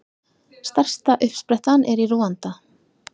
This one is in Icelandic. Stærsta uppsprettan er í Rúanda.